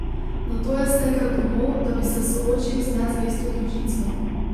Nato je stekel domov, da bi se soočil z nezvesto družico.